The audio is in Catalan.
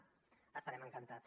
n’estarem encantats